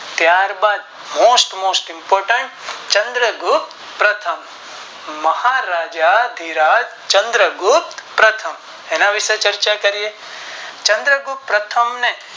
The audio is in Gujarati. ત્યાર બાદ Most most important Chandragupta પ્રથમ મહારાજ ધીરજ ચંદ્ર ગુપ્ત પ્રથમ એના વિષે ચર્ચા કરીયે ચંદ્ર ગુપ્ત પ્રથમ ને